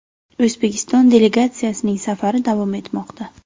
O‘zbekiston delegatsiyasining safari davom etmoqda.